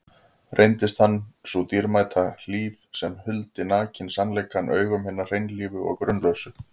Reyndist hann sú dýrmæta hlíf sem huldi nakinn sannleikann augum hinna hreinlífu og grunlausu.